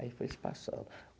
Aí foi se passando.